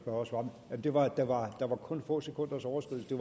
og svarer der var der var kun få sekunders overskridelse